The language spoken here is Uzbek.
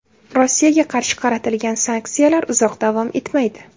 Rossiyaga qarshi qaratilgan sanksiyalar uzoq davom etmaydi.